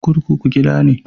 Kurkuku gida ne